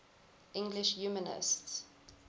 english humanists